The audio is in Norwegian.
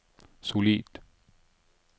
solid